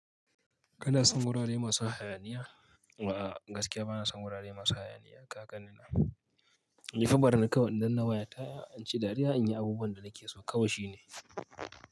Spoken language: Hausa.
Kana son wurare masu hayaniya? A'a gaskiya bana son wurare masu hayaniya. Kagan ni nan nifa barni kawai idan nawa ya ta'a, in ci dariya in yi abubuwan da nake so kawai shine.